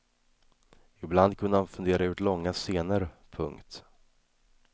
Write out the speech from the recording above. Ibland kunde han fundera ut långa scener. punkt